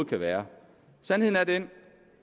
kan være sandheden er den